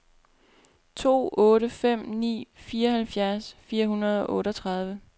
to otte fem ni fireoghalvfjerds fire hundrede og otteogtredive